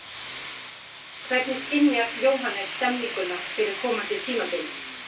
Hvernig skynjar Jóhannes stemninguna fyrir komandi tímabili?